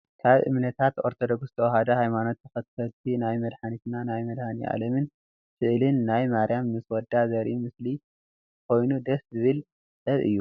ካብ እምነታት ኦርቶዶክስ ተዋህዶ ሃይማኖት ተከተልቲ ናይ መድሓኒትና መድሃኒኣለም ስእልን ናይ ማርያም ምስ ወዳ ዘርኢ ምስሊ ኮይኑ ደስ ዝብል ጥበብ እዩ።